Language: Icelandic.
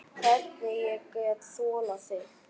Hvernig ég get þolað þig?